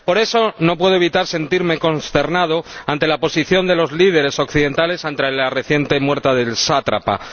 Por eso, no puedo evitar sentirme consternado por la posición de los líderes occidentales ante la reciente muerte del sátrapa.